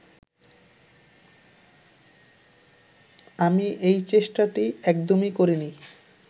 আমি এই চেষ্টাটি একদমই করিনি